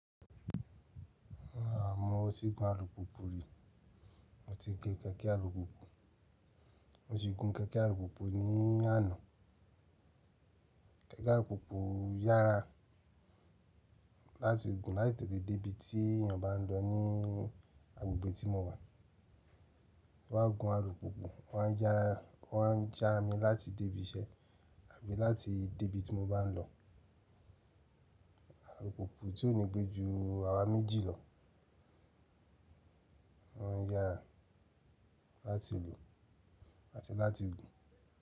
A mo tí gun alùpùpù rí, mo ti gé kééke alùpùpù, mo si gun kééke alùpùpù ní àná. Kééke alùpùpù yára láti gun láì tètè débí tí èèyàn bá ń lọ ní agbègbè tí mo wà. Wọ́n má n gun alùpùpù, wọ́n á ń yára, wọ́n á ń jára mi láti débí iṣẹ́ àbí láti débí tí mo bá ń lọ. Alùpùpù tí ò ní gbé ju àwa méjì lọ, wọ́n ń yára láti lu àti láti gùn.